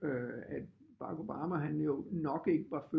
Øh at Barack Obama han jo nok ikke var født